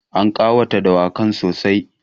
An ƙawata dawakan sossai.